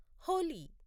Holi